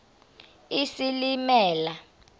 isilimela